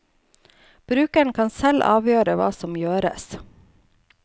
Brukeren kan selv avgjøre hva som gjøres.